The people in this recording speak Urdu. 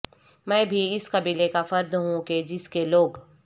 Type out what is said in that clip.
میں بھی اس قبیلے کا فرد ہوں کہ جس کے لوگ